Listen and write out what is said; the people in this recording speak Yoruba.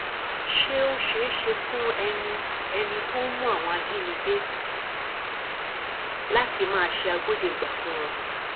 ṣé ó ṣeé ṣe fún ẹni ẹni tó ń mú àwọn ajínigbé láti máa ṣe agbódegbà fún wọn